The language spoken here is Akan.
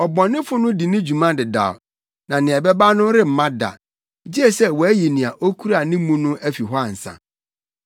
Ɔbɔnefo no di ne dwuma dedaw na nea ɛbɛba no remma da, gye sɛ wɔayi nea okura ne mu no afi hɔ ansa.